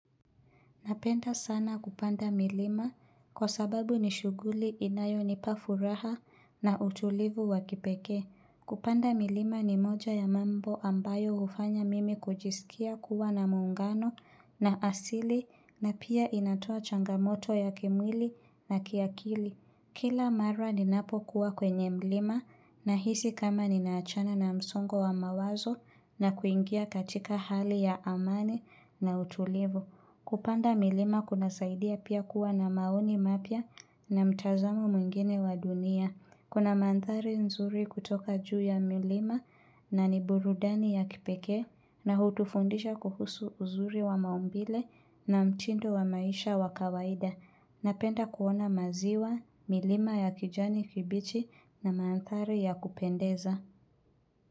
Napenda sana kupanda milima kwa sababu ni shuguli inayo nipafuraha na utulivu wakipekee. Kupanda milima ni moja ya mambo ambayo hufanya mimi kujisikia kuwa na muungano na asili na pia inatoa changamoto ya kimwili na kiakili. Kila mara ninapokuwa kwenye mlima na hisi kama ni naachana na msongo wa mawazo na kuingia katika hali ya amani na utulivu. Kupanda milima kuna saidia pia kuwa na maoni mapya na mtazamo mwingine wa dunia. Kuna mandhari nzuri kutoka juu ya milima na ni burudani ya kipekee na hutufundisha kuhusu uzuri wa maumbile na mtindo wa maisha wa kawaida. Napenda kuona maziwa, milima ya kijani kibichi na mandhari ya kupendeza.